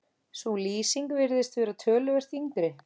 Sú lýsing virðist vera töluvert yngri.